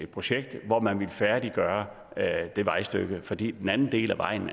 projekt hvor man ville færdiggøre det vejstykke fordi den anden del af vejen